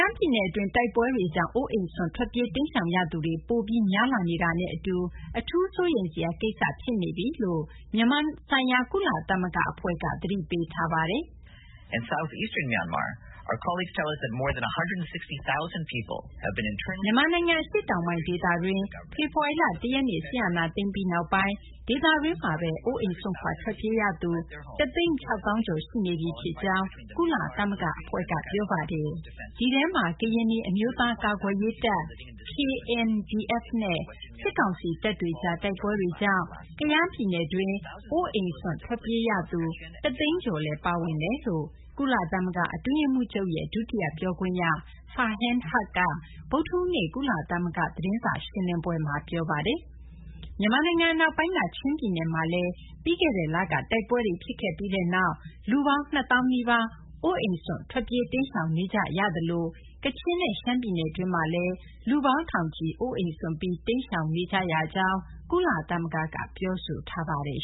ားပြည်နယ် အတွင်း တိုက်ပွဲတွေကြောင့် အိုးအိမ်စွန့် ထွက်ပြေး တိမ်းရှောင်ရသူတွေ ပိုပြီး များလာနေတာနဲ့ အတူ အထူး စိုးရိမ်စရာ ကိစ္စ ဖြစ်နေကြောင်း မြန်မာဆိုင်ရာ ကုလသမဂ္ဂ အဖွဲ့က သတိပေးထားပါတယ်။ “မြန်မာနိုင်ငံ အရှေ့တောင်ပိုင်း ဒေသတွင်း ဖေဖော်ဝါရီလ ၁ ရက်နေ့ စစ်အာဏာသိမ်းပြီးနောက်ပိုင်း ဒေသတွင်းမှာဘဲ အိုးအိမ်စွန့်ခွာ ထွက်ပြေးရသူ ၁၆၀,၀၀၀ ကျော် ရှိနေပြီ ဖြစ်ကြောင်း ကုလသမဂ္ဂ အဖွဲ့က ပြောပါတယ်။ ဒီထဲမှာ ကရင်နီ အမျိုးသားများ ကာကွယ်ရေးတပ် KNDF နဲ့ စစ်ကောင်စီ တပ်တွေကြား တိုက်ပွဲတွေကြောင့် ကယားပြည်နယ်တွင်း အိုးအိမ်စွန့်ထွက်ပြေးသူ ၁၀၀,၀၀၀ ကျော်လည်း ပါဝင်ကြောင်း” ကုလသမဂ္ဂ အတွင်းရေးမှူးချုပ်ရဲ့ ဒုတိယ ပြောခွင့်ရ Farhan Haq က ဗုဒ္ဓဟူးနေ့ သတင်းစာ ရှင်းလင်းပွဲမှာ ပြောပါတယ်။ မြန်မာနိုင်ငံ အနောက်ပိုင်းက ချင်းပြည်နယ်မှာလည်း ပြီးခဲ့တဲ့လက တိုက်ပွဲတွေ ဖြစ်ခဲ့ပြီးနောက်ပိုင်း လူပေါင်း ၂၀,၀၀၀ နီးပါး အိုးအိမ်စွန့်ခွာ ထွက်ပြေး တိမ်းရှောင်နေကြရသလို ကချင်နဲ့ ရှမ်းပြည်နယ်တွင်းမှာလည်း လူပေါင်း ထောင်ချီ အိုးအိမ်စွန့်ပြီး တိမ်းရှောင်နေကြရကြောင်း ကုလသမဂ္ဂက ပြောဆိုထားပါတယ်